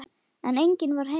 En enginn var heima.